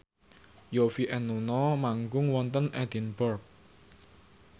Yovie and Nuno manggung wonten Edinburgh